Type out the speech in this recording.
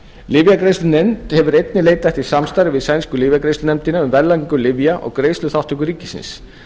lyfjagreiðslunefnd hefir einnig leitað eftir samstarfi við sænsku lyfjagreiðslunefndina um verðlagningu lyfja og greiðsluþátttöku ríkisins